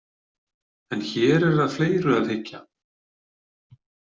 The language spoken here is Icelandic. En hér er að fleiru að hyggja.